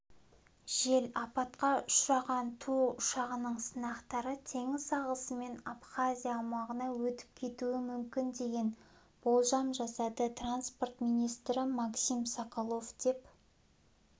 жел апатқа ұшыраған ту ұшағының сынықтары теңіз ағысымен абхазия аумағына өтіп кетуі мүмкін деген болжам жасады транспорт министрі максим соколов деп